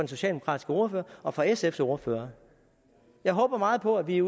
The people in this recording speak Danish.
socialdemokratiske ordfører og fra sfs ordfører jeg håber meget på at vi